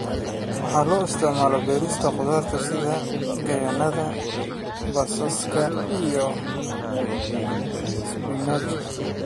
Waxa loo isticmaalaa beerista khudaarta sida yaanyada, basbaaska, iyo isbinaajka.